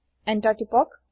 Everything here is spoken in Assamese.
এন্টাৰ টিপক